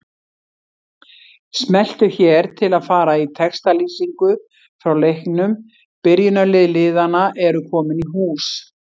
Smelltu hér til að fara í textalýsingu frá leiknum Byrjunarlið liðanna eru komin í hús.